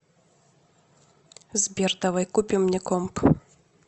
сбер давай купим мне комп